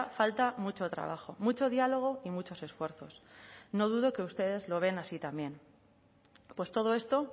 falta mucho trabajo mucho diálogo y muchos esfuerzos no dudo que ustedes lo vean así también pues todo esto